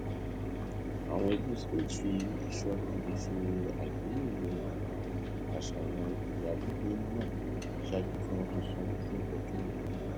àwọn ẹbí smith fi ìṣọra ṣe àgbéyẹwò àwọn àṣàyàn ìyálégbé náà ṣáájú kí wọn tó sanwó fún ọdún mìíràn